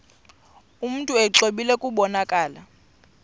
mntu exwebile kubonakala